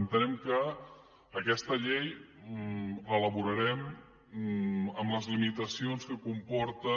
entenem que aquesta llei l’elaborarem amb les limitacions que comporta